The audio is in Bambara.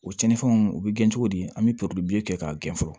O cɛnin fɛnw u bɛ gɛn cogo di an bɛ kɛ k'a gɛn fɔlɔ